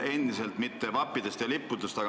Ma ei küsi mitte vappide ja lippude kohta.